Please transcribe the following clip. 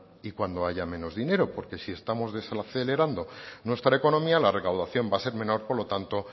y cuando haya menos dinero porque si estamos desacelerando nuestra economía la recaudación va a ser menor por lo tanto